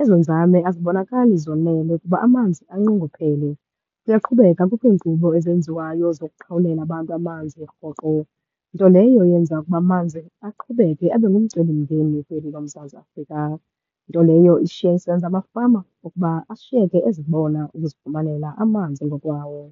ezo nzame azibonakali zonele kuba amanzi anqongophele. Uyaqhubeka, kukho iinkqubo ezenziwayo zokuqhawulela abantu amanzi rhoqo, nto leyo eyenza ukuba amanzi aqhubeke abe ngumcelimngeni kweli loMzantsi Afrika. Nto leyo ishiya isenza amafama ukuba ashiyeke ezibona ukuzifumanela amanzi ngokwawo.